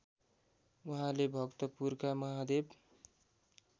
उहाँले भक्तपुरका महादेव